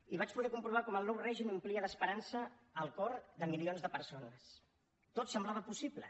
i vaig poder comprovar com el nou règim omplia d’esperança el cor de milions de persones tot semblava possible